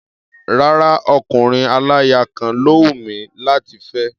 Rárá o, ọkùnrin aláya kan ló hùn mí láti fẹ́.